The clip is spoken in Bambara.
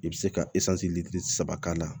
I bɛ se ka saba k'a la